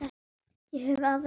Ég hef harða skel.